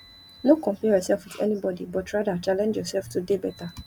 no compare yourself with anybody but rather challenge yourself to dey better